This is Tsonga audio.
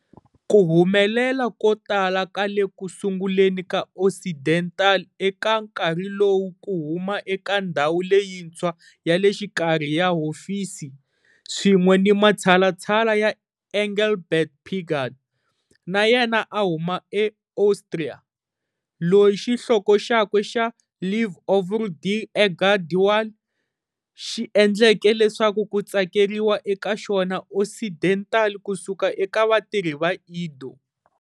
Ku humelela ko tala ka le ku sunguleni ka Occidental eka nkarhi lowu ku huma eka ndhawu leyintshwa ya le xikarhi ya hofisi, swin'we ni matshalatshala ya Engelbert Pigal, na yena a huma eAustria, loyi xihloko xakwe xa"Li Ovre de Edgar de Wahl" Ntirho wa Edgar de Wahl, xi endleke leswaku ku tsakeriwa eka xona Occidental ku suka eka vatirhisi va Ido.